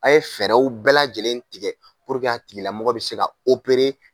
A ye fɛɛrɛw bɛɛ lajɛlen tigɛ a tigilamɔgɔ bɛ se ka